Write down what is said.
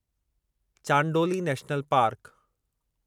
Chandoli national park